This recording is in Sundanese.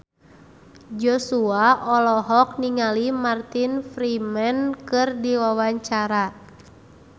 Joshua olohok ningali Martin Freeman keur diwawancara